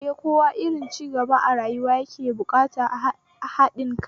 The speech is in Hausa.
Eh, kowane irin cigaba a rayuwa yana buƙatar haɗin kai